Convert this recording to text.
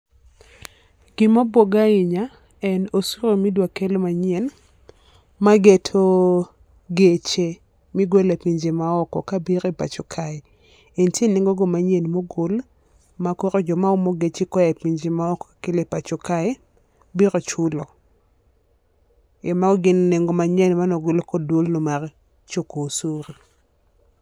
Gi ma obwoga ahinya en osuru mi idwa kel manyien ma geto geche mi igole pinje ma oko ka biro e pacho kae, e nitie nengo go manyien ma ogol ma koro jo ma omo geche e pinje ma oko kelo e pacho kae biro chulo.E mano gin nengo ma nyien mane ogol kod dwol no mar choko osuru.